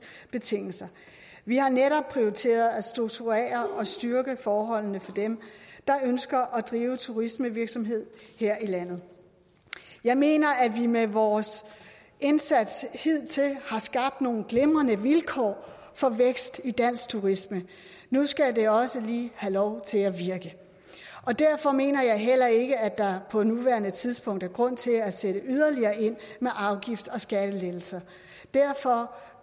betingelser vi har netop prioriteret at strukturere og styrke forholdene for dem der ønsker at drive turismevirksomhed her i landet jeg mener at vi med vores indsats hidtil har skabt nogle glimrende vilkår for vækst i dansk turisme nu skal det også lige have lov til at virke derfor mener jeg heller ikke at der på nuværende tidspunkt er grund til at sætte yderligere ind med afgifts og skattelettelser derfor